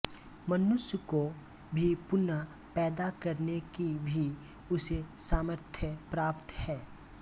मनुष्य को भी पुनः पैदा करने की भी उसे सामर्थ्य प्राप्त है